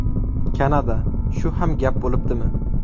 Kanada: Shu ham gap bo‘libdimi.